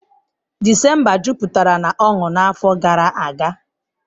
December jupụtara na ọṅụ n'afọ gara aga.